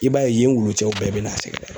I b'a ye yen wulu cɛw bɛɛ bɛ n'a sɛgɛrɛ.